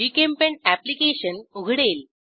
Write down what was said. GChemPaint application उघडेल